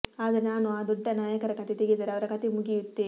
ಆದರೆ ನಾನು ಆ ದೊಡ್ಡ ನಾಯಕರ ಕಥೆ ತೆಗೆದರೆ ಅವರ ಕಥೆ ಮುಗಿಯುತ್ತೆ